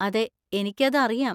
അതെ, എനിക്ക് അത് അറിയാം.